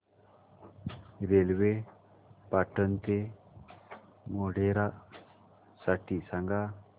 railway Patan ते मोढेरा साठी सांगा